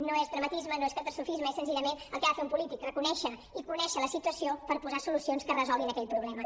no és dramatisme no és catastrofisme és senzillament el que ha de fer un polític reconèixer i conèixer la situació per posar solucions que resolguin aquell problema